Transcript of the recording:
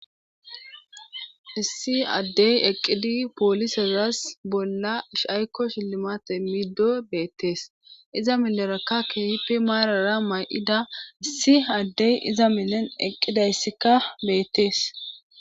Issi Adey eqid polisezas bolla ayko shilmate imido betes, iza mileraka keehippe marara mayida adeyi iza milen eqidaysika betesi.